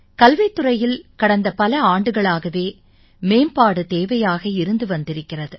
கல்வித் துறையில் கடந்த பல ஆண்டுகளாகவே மேம்பாடு தேவையாக இருந்து வந்திருக்கிறது